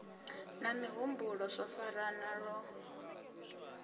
na mihumbulo zwo farana lwo